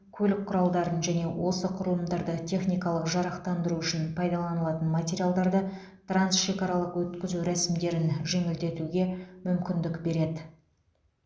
көлік құралдарын және осы құрылымдарды техникалық жарақтандыру үшін пайдаланылатын материалдарды трансшекаралық өткізу рәсімдерін жеңілдетуге мүмкіндік береді